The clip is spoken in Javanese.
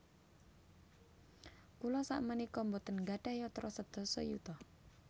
Kula sakmenika mboten nggadhah yatra sedasa yuta